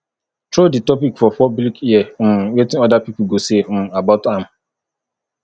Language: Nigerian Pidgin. throw di topic for public hear um wetin other pipo go say um about am